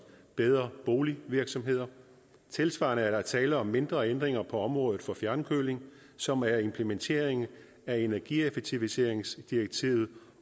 bedre bolig virksomheder tilsvarende er der tale om mindre ændringer på området for fjernkøling som er implementeringen af energieffektiviseringsdirektivet